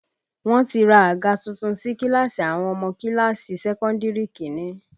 Wọ́n ti ra àga tuntun sí kíláàsì àwọn ọmọ kíláàsì sẹ́kọ́ndìrì Kínní